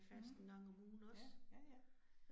Mh. Ja, ja ja